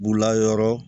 B'u la yɔrɔ